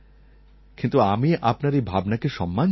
কিন্তু আমি আপনার এই ভাবনাকে সম্মান জানাই